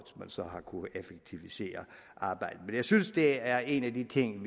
man så har kunnet effektivisere arbejdet men jeg synes det er en af de ting